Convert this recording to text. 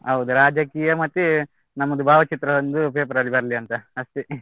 ಹೌದು ರಾಜಕೀಯ ಮತ್ತೆ ನಮ್ಮದು ಭಾವಚಿತ್ರ ಒಂದು paper ಅಲ್ಲಿ ಬರ್ಲಿ ಅಂತ ಅಷ್ಟೇ.